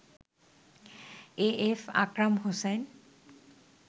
AF Akram Hossain